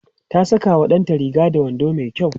ta Saka wa ɗanta Riga da wando mai kyau